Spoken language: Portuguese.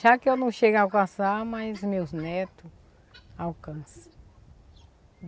Já que eu não chego a alcançar, mas meus neto alcança.